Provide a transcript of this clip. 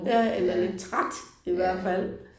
Ja eller lidt træt i hvert fald